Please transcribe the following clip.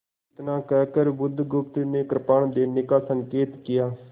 इतना कहकर बुधगुप्त ने कृपाण देने का संकेत किया